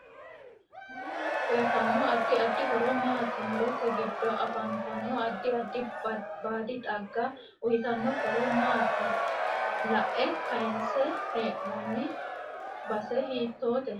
Muro uyiitanno addi addi horo maati murote giddo afantaano addi addi baadi xagga uyiitanno horo maati iae kayiinse heenooni baae hiitoote